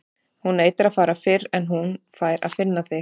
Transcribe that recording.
Hún neitar að fara fyrr en hún fær að finna þig.